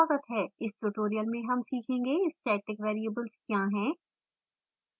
इस tutorial में हम सीखेंगे: static variables क्या हैं